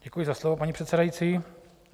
Děkuji za slovo, paní předsedající.